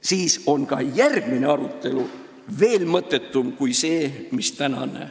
–, siis on ka järgmine arutelu veel mõttetum kui see, mis oli täna.